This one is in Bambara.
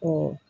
O